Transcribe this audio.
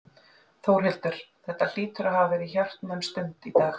Þórhildur, þetta hlýtur að hafa verið hjartnæm stund í dag?